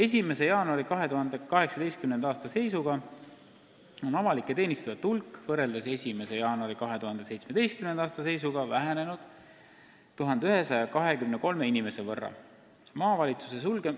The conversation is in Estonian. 2018. aasta 1. jaanuari seisuga oli avalike teenistujate hulk 1123 inimese võrra väiksem kui 1. jaanuaril 2017.